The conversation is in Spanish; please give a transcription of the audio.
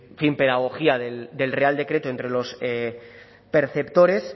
pedagogía del real decreto entre los perceptores